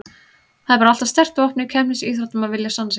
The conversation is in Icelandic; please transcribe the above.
Það er bara alltaf sterkt vopn í keppnisíþróttum að vilja sanna sig.